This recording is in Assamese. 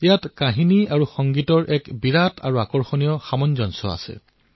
ইয়াত কাহিনী আৰু সংগীতৰ আকৰ্ষক সামঞ্জস্যতা আছে